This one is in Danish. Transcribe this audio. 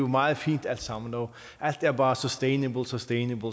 meget fint alt sammen og alt er bare sustainable sustainable